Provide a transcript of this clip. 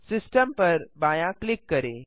system पर बायाँ click करें